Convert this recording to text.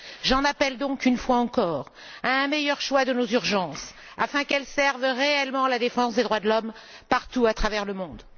Je demande donc, une fois encore, un meilleur choix de nos urgences afin qu'elles servent réellement la défense des droits de l'homme partout à travers le monde.